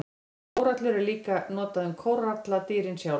Orðið kórallur er líka notað um kóralladýrin sjálf.